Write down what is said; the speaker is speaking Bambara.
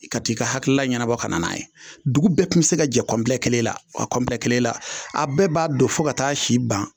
I ka t'i ka hakilila ɲɛnabɔ kana n'a ye dugu bɛɛ kun be se ka jɛ kɔnpilɛ kelen la a kɔnpilɛ kelen la a bɛɛ b'a don fɔ ka t'a si ban